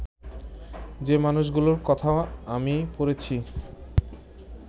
যে মানুষগুলোর কথা আমি পড়েছি